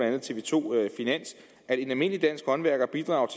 og tv to finans at en almindelig dansk håndværker bidrager